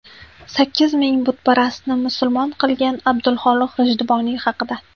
Sakkiz ming butparastni musulmon qilgan Abdulxoliq G‘ijduvoniy haqida.